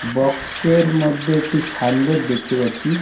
Box -এর মধ্যে একটি সাইন বোর্ড দেখতে পাচ্ছি।